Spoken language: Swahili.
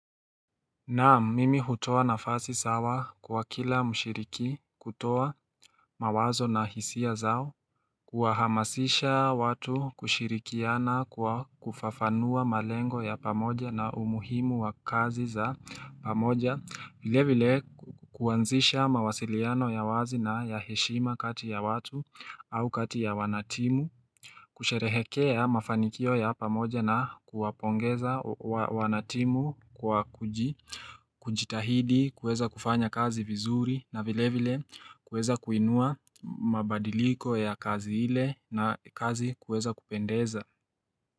Naam, mimi hutoa nafasi sawa kwa kila mshiriki, kutoa mawazo na hisia zao, kuwahamasisha watu kushirikiana kwa kufafanua malengo ya pamoja na umuhimu wa kazi za pamoja, vile vile kuanzisha mawasiliano ya wazi na ya heshima kati ya watu au kati ya wanatimu, kusherehekea mafanikio ya pamoja na kuwapongeza wanatimu kwa kujitahidi, kueza kufanya kazi vizuri na vile vile kueza kuinua mabadiliko ya kazi ile na kazi kuweza kupendeza.